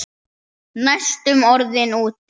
Næstum orðinn úti